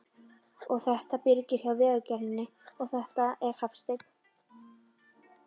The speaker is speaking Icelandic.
Og þetta er Birgir hjá Vegagerðinni, og þetta er Hafsteinn.